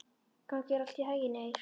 Gangi þér allt í haginn, Eir.